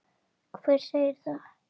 Hver segir það?